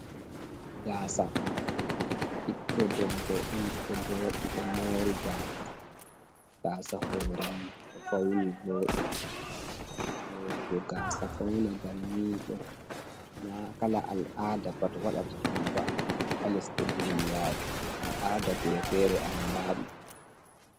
gaasa biddo debbo on do jodi do mori gasa, gasa hore mo do fauni vodi morugo gasa fauna banniɗo na kala al aada pat wadata ɗum ba, a lesɗe duniyaru al'aada gure fere andadum.